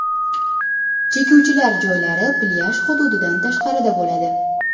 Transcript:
Chekuvchilar joylari plyaj hududidan tashqarida bo‘ladi.